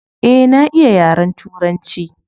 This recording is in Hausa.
Eh na iya yaren turanci.